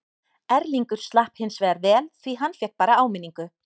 Erlingur slapp hinsvegar vel því hann fékk bara áminningu.